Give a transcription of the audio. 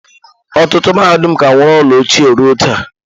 Ọtụtụ mahadum ka nwere ụlọ ochie ruo taa.